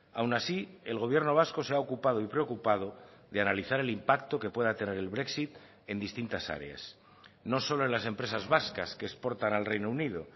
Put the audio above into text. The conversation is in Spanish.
aun así el gobierno vasco se ha ocupado y preocupado de analizar el impacto que pueda tener el brexit en distintas áreas no solo en las empresas vascas que exportan al reino unido